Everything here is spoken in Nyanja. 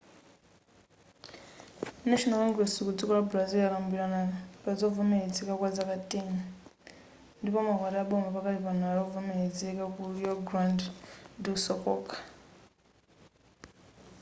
national congress ku dziko la brazil yakambirana pazovomerezeka kwa zaka 10 ndipo maukwati aboma pakanali pano ndi ovomerezeka ku rio grande do sul kokha